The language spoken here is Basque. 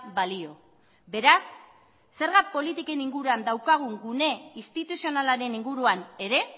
balio beraz zergak politiken inguruan daukagun gune instituzionalaren inguruan ere